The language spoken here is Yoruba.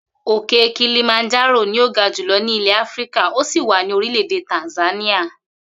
Òkè kilimanjárò ni ó ga jùlo̩ ní ilè̩ Áfíríkà ó sì wà ní orílè̩-èdè Tàǹsáníà